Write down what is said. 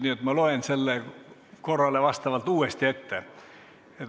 Nii et ma loen selle korrale vastavalt uuesti ette.